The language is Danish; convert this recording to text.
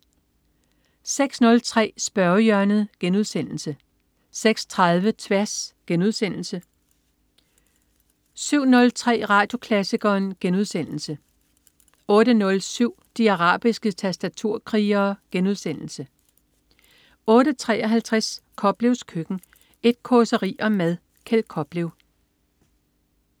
06.03 Spørgehjørnet* 06.30 Tværs* 07.03 Radioklassikeren* 08.07 De arabiske tastaturkrigere* 08.53 Koplevs Køkken. Et causeri om mad. Kjeld Koplev